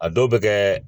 A dɔw bɛ kɛ